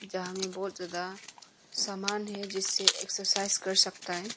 जहां में बहोत ज्यादा समान है जिससे एक्सरसाइज कर सकता है।